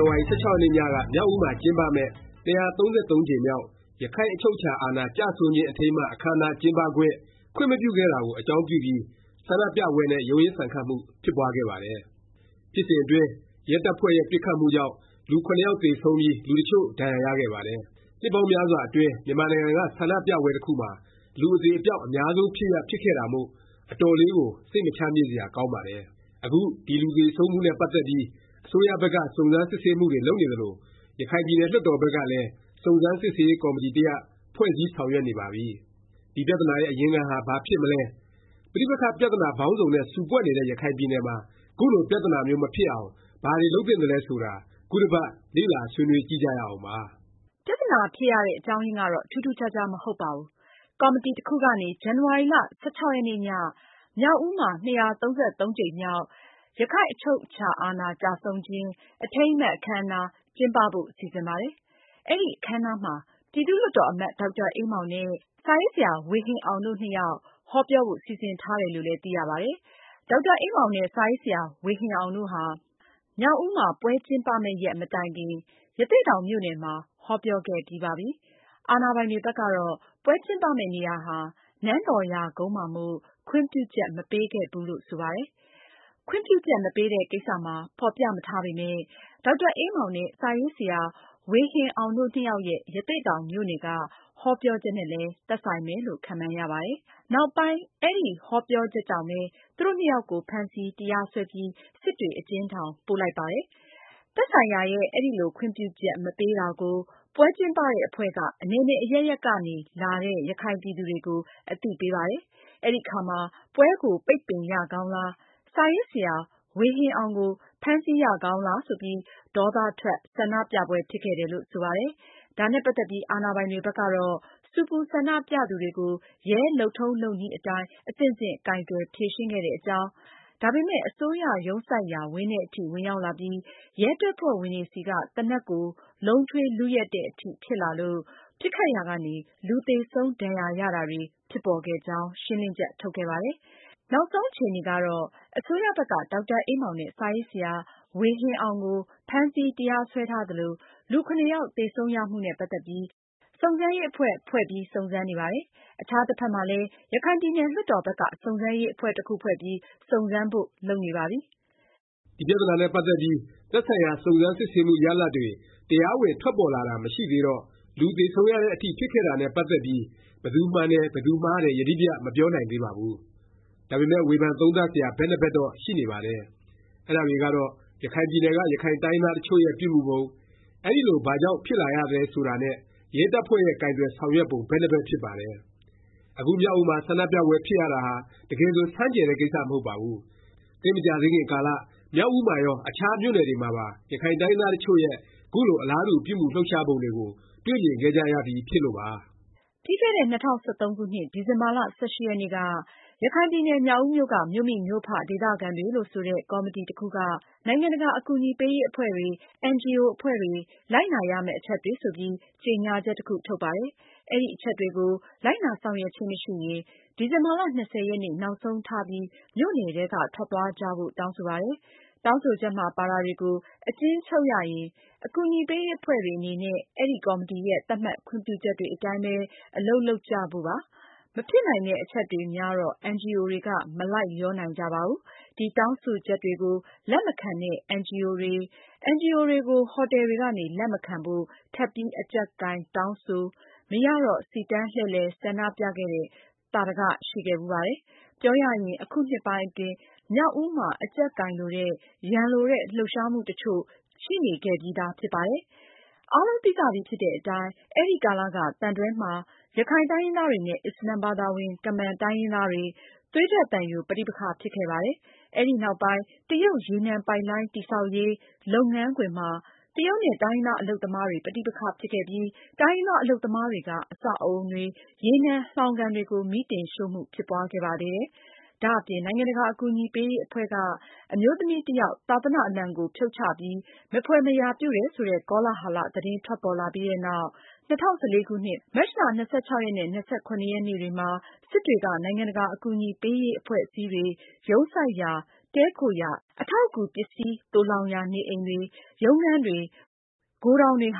နဝါရီလ ၁၆ ရက်နေ့ညက မြောက်ဦးမှာ ကျင်းပမယ့် ၂၃၃ ကြိမ်မြောက် ရခိုင့် အချုပ်အခြာအာဏာ ကျဆုံးခြင်း အထိမ်းအမှတ် အခမ်းအနားကျင်းပခွင့် ခွင့်မပြုခဲ့တာကို အကြောင်းပြုပြီး ဆန္ဒပြပွဲနဲ့ ရုန်းရင်းဆန်ခတ်မှု ဖြစ်ပွားခဲ့ပါတယ်။ ဖြစ်စဉ်အတွင်း ရဲတပ်ဖွဲ့ရဲ့ ပစ်ခတ်မှုကြောင့် လူ ၇ ယောက် သေဆုံးပြီး လူတစ်ချို့ ဒဏ်ရာရခဲ့ပါတယ်။ နှစ်ပေါင်းများစွာ အတွင်း မြန်မာနိုင်ငံက ဆန္ဒပြပွဲ တစ်ခုမှာ လူအသေအပျောက် အများဆုံး ဖြစ်ရပ် ဖြစ်ခဲ့တာမို့ အတော်လေးကို စိတ်မချမ်းမြေ့စရာ ကောင်းပါတယ်။ အခု ဒီလူသေဆုံးခဲ့မှုနဲ့ ပတ်သက်ပြီး အစိုးရဘက်က စုံစမ်းစစ်ဆေးမှုတွေ လုပ်နေသလို၊ ရခိုင်ပြည်နယ် လွှတ်တော်ဘက်ကလည်း စုံစမ်းစစ်ဆေးရေး ကော်မတီ တစ်ရပ် ဖွဲ့စည်းဆောင်ရွက်နေပါပြီ။ ဒီ ပြသနာရဲ့ အရင်းခံဟာ ဘာဖြစ်မလဲ၊ ပဋိပက္ခ ပြသနာပေါင်းစုံနဲ့ ဆူပွက်နေတဲ့ ရခိုင်ပြည်နယ်မှာ ခုလို ပြသနာမျိုး မဖြစ်အောင် ဘာတွေ လုပ်သင့်သလဲ ဆိုတာ ခုတစ်ပတ် လေ့လာ ဆွေးနွေးကြည့်ကြရအောင်ပါ။ ပြသနာဖြစ်ရခြင်း အကြောင်းရင်းကတော့ ထူးထူးခြားခြား မဟုတ်ပါဘူး။ ကော်မတီ တစ်ခုကနေ ဇန်နဝါရီလ ၁၆ ရက်နေ့ည မြောက်ဦးမှာ ၂၃၃ ကြိမ်မြောက် ရခိုင့် အချုပ်အခြာအာဏာ ကျဆုံးခြင်း အထိမ်းအမှတ် အခမ်းအနား ကျင်းပဖို့ စီစဉ်ပါတယ်။ အဲဒီ အခန်းအနားမှာ ပြည်သူ့လွှတ်တော် အမတ် ဒေါက်တာအေးမောင်နဲ့ စာရေးဆရာ ဝေဟင်အောင် တို့နှစ်ယောက် ဟောပြောဖို့ စီစဉ်ထားတယ်လို့လည်း သိရပါတယ်။ ဒေါက်တာအေးမောင်နဲ့ စာရေးဆရာ ဝေဟင်အောင် တို့ဟာ မြောက်ဦးမှာ ပွဲကျင်းပမယ့်ရက် မတိုင်ခင် ရသေ့တောင်မြို့နယ်မှာ ဟောပြောခဲ့ပြီးပါပြီ။ အာဏာပိုင်တွေဘက်ကတော့ ပွဲကျင်းပမယ့်နေရာဟာ နန်းတော်ရာကုန်းမှာ မို့ ခွင့်ပြုချက် မပေးခဲ့ဘူးလို့ ဆိုပါတယ်။ ခွင့်ပြုချက် မပေးတဲ့ကိစ္စမှာ ဖော်ပြမထားပေမယ့် ဒေါက်တာအေးမောင်နဲ့ စာရေးဆရာ ဝေဟင်အောင် တို့နှစ်ယောက်ရဲ့ ရသေ့တောင်မြို့နယ်က ဟောပြောချက်နဲ့လည်း သက်ဆိုင်မယ်လို့ ခန့်မှန်းရပါတယ်။ နောက်ပိုင်း အဲဒီ ဟောပြောချက်ကြောင့်ပဲ သူတို့နှစ်ယောက်ကို ဖမ်းဆီး၊ တရားစွဲပြီး စစ်တွေ အကျဉ်းထောင် ပို့လိုက်ပါပြီ။ သက်ဆိုင်ရာရဲ့ အဲလို ခွင့်ပြုချက် မပေးတာကို ပွဲကျင်းပတဲ့ အဖွဲ့က အနယ်နယ် အရပ်ရပ်ကနေ လာတဲ့ ရခိုင်ပြည်သူတွေကို အသိပေးပါတယ်။ ဒီအခါမှာ ပွဲကို ပိတ်ပင်ရကောင်းလား၊ စာရေးဆရာ ဝေဟင်အောင်ကို ဖမ်းဆီးရကောင်းလား ဆိုပြီး ဒေါသထွက် ဆန္ဒပြပွဲ ဖြစ်ခဲ့တယ်လို့ ဆိုပါတယ်။ ဒါနဲ့ ပတ်သက်ပြီး အာဏာပိုင်တွေဘက်ကတော့ ဆူပူဆန္ဒပြသူတွေကို ရဲ လုပ်ထုံးလုပ်နည်း အတိုင်း အဆင့်ဆင့် ကိုင်တွယ် ဖြေရှင်းခဲ့တဲ့အကြောင်း၊ ဒါပေမယ့် အစိုးရ ရုံးစိုက်ရာ ဝင်းထဲအထိ ဝင်ရောက်လာပြီး ရဲတပ်ဖွဲ့ဝင်တွေဆီက သေနတ်ကို လုံးထွေး လုယက်သည်အထိ ဖြစ်လာလို့ ပစ်ခတ်ရာကနေ လူသေဆုံး ဒါဏ်ရာရတာတွေ ဖြစ်ပေါ်ခဲ့ကြောင်း ရှင်းလင်းချက် ထုတ်ခဲ့ပါတယ်။ နောက်ဆုံး အခြေအနေကတော့ အစိုးရဘက်က ဒေါက်တာအေးမောင်နဲ့ စာရေးဆရာ ဝေဟင်အောင်ကို ဖမ်းဆီး တရားစွဲထားသလို၊ လူ ၇ယောက် သေဆုံးရမှုနဲ့ ပတ်သက်ပြီး စုံစမ်းရေး အဖွဲ့ ဖွဲ့ စုံစမ်းနေပါတယ်။ အခြား တစ်ဖက်မှာလည်း ရခိုင်ပြည်နယ် လွှတ်တော်ဘက်က စုံစမ်းရေး အဖွဲ့တစ်ခု ဖွဲ့ပြီး စုံစမ်းဖို့ လုပ်နေပါပြီ။ ဒီ ပြသနာနဲ့ ပတ်သက်ပြီး သက်ဆိုင်ရာ စုံစမ်းစစ်ဆေးမှု ရလာဒ်တွေ တရားဝင် ထွက်ပေါ်လာတာ မရှိသေးတော့ လူသေဆုံးရတဲ့အထိ ဖြစ်ခဲ့တာနဲ့ ပတ်သက်ပြီး ဘယ်သူမှန်တယ်၊ ဘယ်သူမှားတယ် ယတိပြတ် မပြောနိုင်သေးပါဘူး။ ဒါပေမယ့် ဝေဖန်သုံးသပ်စရာ ဘက်နှစ်ဖက်တော့ ရှိနေပါတယ်။ အဲဒါတွေကတော့ ရခိုင်ပြည်နယ်က ရခိုင်တိုင်းရင်းသား တစ်ချို့ရဲ့ ပြုမူပုံ၊ အဲဒီလို ဘာကြောင့် ဖြစ်လာရတာလဲ ဆိုတာနဲ့ ရဲတပ်ဖွဲ့ရဲ့ ကိုင်တွယ် ဆောင်ရွက်ပုံ ဘက်နှစ်ဖက် ဖြစ်ပါတယ်။ အခု မြောက်ဦးမှာ ဆန္ဒပြပွဲ ဖြစ်ရတာဟာ တကယ်ဆို ဆန်းကြယ်တဲ့ ကိစ္စ မဟုတ်ပါဘူး။ သိပ်မကြာသေးခင်ကာလ မြောက်ဦးမှာရော အခြား မြို့နယ်တွေမှာပါ ရခိုင်တိုင်းရင်းသား တစ်ချို့ရဲ့ ခုလို အလားတူ ပြုမူ လှုပ်ရှားပုံတွေကို တွေ့မြင်ခဲ့ကြရပြီး ဖြစ်လို့ပါ။ ပြီးခဲ့တဲ့ ၂၀၁၃ ဒီဇင်ဘာ ၁၈ ရက်နေ့က ရခိုင်ပြည်နယ် မြောက်ဦးမြို့က မြို့မိမြို့ဖ ဒေသခံတွေလို့ဆိုတဲ့ ကော်မတီတစ်ခုက နိုင်ငံတကာ အကူအညီပေးရေး အဖွဲ့တွေ၊ အင်န်ဂျီအို အဖွဲ့တွေ လိုက်နာရမယ့် အချက်တွေဆိုပြီး ကြေငြာချက်တစ်ခု ထုတ်ပါတယ်။ အဲဒီ အချက်တွေကို လိုက်နာဆောင်ရွက်ခြင်း မရှိရင် ဒီဇင်ဘာ ၂၀ ရက် နောက်ဆုံးထားပြီး မြို့နယ်ထဲက ထွက်သွားကြဖို့ တောင်းဆိုပါတယ်။ တောင်းဆိုချက်မှာ ပါတာတွေကို အကျဉ်းချုပ်ရရင် အကူအညီပေးရေး အဖွဲ့တွေ အနေနဲ့ အဲဒီကော်မတီရဲ့ သတ်မှတ် ခွင့်ပြုချက်တွေ အတိုင်းပဲ အလုပ်လုပ်ကြဖို့ပါ။ မဖြစ်နိုင်တဲ့ အချက်တွေ များတော့ အင်န်ဂျီအိုတွေက မလိုက်လျောနိုင်ကြပါဘူး။ ဒီ တောင်းဆိုချက်တွေကို လက်မခံတဲ့ အင်န်ဂျီအိုတွေ၊ အိုင်အင်န်ဂျီအိုတွေကို ဟော်တယ်တွေကနေ လက်မခံဖို့ ထပ်ပြီး အကြပ်ကိုင် တောင်းဆို၊ မရတော့ စီတန်းလှည့်လည် ဆန္ဒပြခဲ့တဲ့ သာဓက ရှိခဲ့ဖူးပါတယ်။ ပြောရရင် အခုနှစ်ပိုင်းအတွင်း မြောက်ဦးမှာ အကြပ်ကိုင်လိုတဲ့၊ ရန်လိုတဲ့ လှုပ်ရှားမှု တစ်ချို့ ရှိနေနှင့်ခဲ့ပြီးသား ဖြစ်ပါတယ်။ အားလုံးသိကြပြီဖြစ်တဲ့အတိုင်း အဲဒီကာလက သံတွဲမှာ ရခိုင်တိုင်းရင်းသားတွေနဲ့ အစ္စလာမ် ဘာသာဝင် ကမန်တိုင်းရင်းသားတွေ သွေးထွက်သံယို ပဋိပက္ခ ဖြစ်ခဲ့ပါတယ်။ အဲဒီနောက်ပိုင်း တရုတ်ရေနံပိုက်လိုင်း တည်ဆောက်ရေး လုပ်ငန်းခွင်မှာ တရုတ်နဲ့ တိုင်းရင်းသားအလုပ်သမားတွေ ပဋိပက္ခ ဖြစ်ခဲ့ပြီး တိုင်းရင်းသား အလုပ်သမားတွေက အဆောက်အဦတွေ၊ ရေနံလှောင်ကန်တွေကို မီးတင်ရှို့မှု ဖြစ်ပွားခဲ့ပါသေးတယ်။ ဒါ့အပြင် နိုင်ငံတကာ အကူအညီပေးရေးအဖွဲ့က အမျိုးသမီးတစ်ယောက် သာသနာ့အလံ ကို ဖြုတ်ချပြီး မဖွယ်မရာပြုတယ် ဆိုတဲ့ ကောလဟလ သတင်းထွက်ပေါ်လာပြီးနောက် ၂၀၁၄ ခုနှစ် မတ်လ ၂၆ ရက်နဲ့ ၂၇ ရက်နေ့ တွေမှာ စစ်တွေက နိုင်ငံတကာအကူအညီပေးရေး အဖွဲ့အစည်းတွေ ရုံးစိုက်ရာ၊ တည်းခိုရာ၊ အထောက်အကူ ပစ္စည်း သိုလှောင်ရာ နေအိမ်တွေ၊ ရုံးခန်းတွေ၊ ဂိုဒေါင်တွေ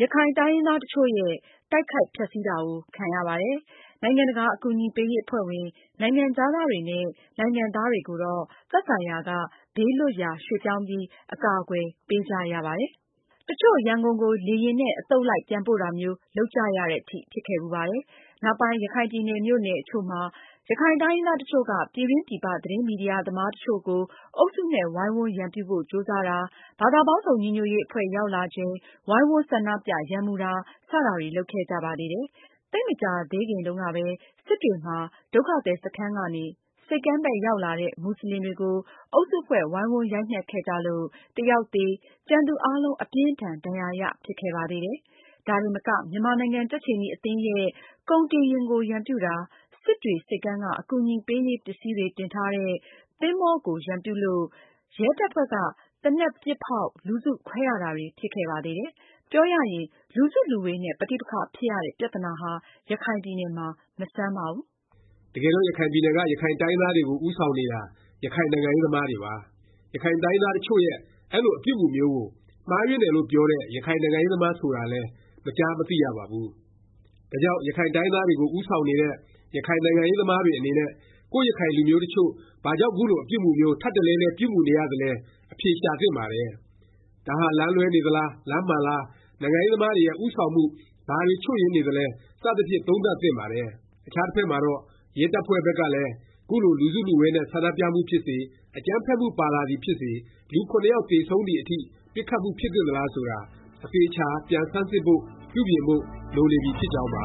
ရခိုင်တိုင်းရင်းသား တစ်ချို့ရဲ့ တိုက်ခိုက်ဖျက်ဆီးတာ ခံရပါတယ်။ နိုင်ငံတကာ အကူအညီပေးရေး အဖွဲ့ဝင် နိုင်ငံခြားသားတွေနဲ့ နိုင်ငံသားတွေကိုတော့ သက်ဆိုင်ရာက ဘေးလွတ်ရာ ရွှေ့ပြောင်းပြီး အကာအကွယ်ပေးကြရပါတယ်။ တစ်ချို့ ရန်ကုန်ကို လေယာဉ်နဲ့ အသုတ်လိုက် ပြန်ပို့တာမျိုး လုပ်ကြရသည် အထိ ဖြစ်ခဲ့ဖူးပါတယ်။ နောက်ပိုင်း ရခိုင်ပြည်နယ် မြို့နယ် အချို့မှာ ရခိုင်တိုင်းရင်းသား တစ်ချို့က ပြည်တွင်း ပြည်ပ သတင်းမီဒီယာ သမားတစ်ချို့ကို အုပ်စုနဲ့ ဝိုင်းဝန်း ရန်ပြုဖို့ ကြိုးစားတာ၊ ဘာသာပေါင်းစုံ ညီညွတ်ရေး အဖွဲ့ ရောက်လာချိန် ဝိုင်းဝန်း၊ ဆန္ဒပြ၊ ရန်မူတာ စတာတွေ လုပ်ခဲ့ကြပါသေးတယ်။ သိပ်မကြာသေးခင်တုန်းကပဲ စစ်တွေမှာ ဒုက္ခသည် စခန်းကနေ ဆိပ်ကမ်းဘက် ရောက်လာတဲ့ မူဆလင်တွေကို အုပ်စုဖွဲ့ ဝိုင်းဝန်းရိုက်နှက်ခဲ့ကြလို့ တစ်ယောက်သေ၊ ကျန်သူအားလုံး အပြင်းအထန် ဒါဏ်ရာရ ဖြစ်ခဲ့ပါသေးတယ်။ ဒါတင်မက မြန်မာနိုင်ငံ ကြက်ခြေနီ အသင်းရဲ့ ကုန်တင်ယာဉ်ကို ရန်ပြုတာ၊ စစ်တွေဆိပ်ကမ်းက အကူအညီပေးရေး ပစ္စည်းတွေ တင်ထားတဲ့ သင်္ဘောကို ရန်ပြုလို့ ရဲတပ်ဖွဲ့က သေနတ်ပစ်ဖေါက် လူစုခွဲရတာတွေ ဖြစ်ခဲ့ပါသေးတယ်။ ပြောရရင် လူစုလူဝေးနဲ့ ပဋိပက္ခ ဖြစ်ရတဲ့ ပြသနာဟာ ရခိုင်ပြည်နယ်မှာ မဆန်းပါဘူး။ တကယ်တော့ ရခိုင်ပြည်နယ်က ရခိုင်တိုင်းရင်းသားတွေကို ဦးဆောင်နေတာ ရခိုင်နိုင်ငံရေးသမားတွေပါ။ ရခိုင်တိုင်းရင်းသား တစ်ချို့ရဲ့ အဲလို အပြုအမူမျိုးကို မှားယွင်းတယ်လို့ပြောတဲ့ ရခိုင်နိုင်ငံရေးသမား ဆိုတာမျိုးလည်း မကြားမသိရပါဘူး။ ဒါကြောင့် ရခိုင်တိုင်းရင်းသားတွေကို ဦးဆောင်နေတဲ့ ရခိုင်နိုင်ငံရေးသမားတွေ အနေနဲ့ ကိုယ့်ရခိုင်လူမျိုးတစ်ချို့ ဘာကြောင့် ခုလို အပြုအမူမျိုး ထပ်တလဲလဲ ပြုမူနေရသလဲ အဖြေရှာသင့်ပါတယ်။ ဒါဟာ လမ်းလွဲနေသလား၊ လမ်းမှန်လား၊ နိုင်ငံရေးသမားတွေရဲ့ ဦးဆောင်မှု ဘာတွေ ချို့ယွင်းနေသလဲ စသဖြင့် သုံးသပ်သင့်ပါတယ်။ အခြားတစ်ဖက်မှာတော့ ရဲတပ်ဖွဲ့ဘက်ကလည်း ခုလို လူစုလူဝေးနဲ့ ဆန္ဒပြမှုဖြစ်စေ၊ အကြမ်းဖက်မှု ပါလာသည် ဖြစ်စေ၊ လူ ၇ ယောက် သေဆုံးသည် အထိ ပစ်ခတ်မှု ဖြစ်သင့်သလား ဆိုတာ အသေအခြာ ပြန် ဆန်းစစ်ဖို့၊ ပြုပြင်ဖို့ လိုနေပြီ ဖြစ်ကြောင်းပါ